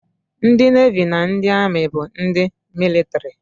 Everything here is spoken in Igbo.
Ndị Nevi na ndị Amị bụ ndị mịlịtrị